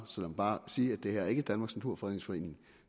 bare sige at det her ikke danmarks naturfredningsforening